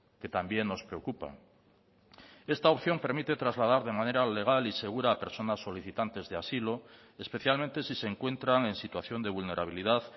que también nos preocupa esta opción permite trasladar de manera legal y segura a personas solicitantes de asilo especialmente si se encuentran en situación de vulnerabilidad